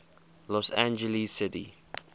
los angeles city